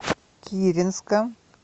киренска